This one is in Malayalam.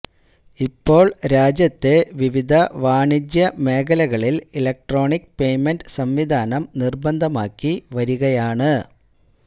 ഇപ്പോൾ രാജ്യത്തെ വിവിധ വാണിജ്യ മേഖലകളിൽ ഇലക്ട്രോണിക് പേയ്മെന്റ് സംവിധാനം നിർബന്ധമാക്കിവരികയാണ്